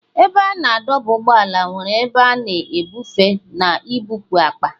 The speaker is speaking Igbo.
Ebe a na-adọba ụgbọala nwere ebe a na-ebufe na ibupu akpa.